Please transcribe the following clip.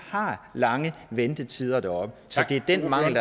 har lange ventetider deroppe så det er den mangel